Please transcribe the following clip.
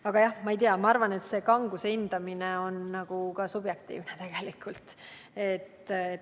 Aga jah, ma arvan, et kanguse hindamine on tegelikult subjektiivne.